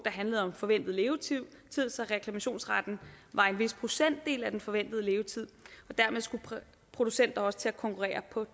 handler om forventet levetid så reklamationsretten var en vis procentdel af den forventede levetid dermed skulle producenter også til at konkurrere på